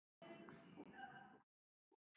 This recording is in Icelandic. Marteinn svaraði engu.